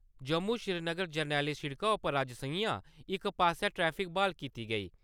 जम्मू-श्रीनगर जरनैली सिड़का उप्पर अज्ज संञा इक पासेआ ट्रैफिक ब्हाल कीती गेई।